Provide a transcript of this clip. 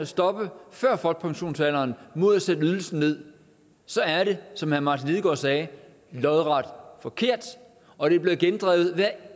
stoppe før folkepensionsalderen mod at sætte ydelsen ned så er det som herre martin lidegaard sagde lodret forkert og det er blevet gendrevet hver